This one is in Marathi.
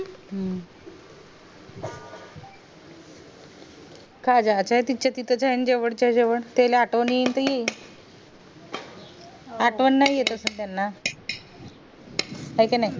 का जाते तिच्या तिथं त्यांच्या कडचं जेवण त्याला आठवण येईल त येईल आठवण नाय येत असेल त्याना हाय का नाय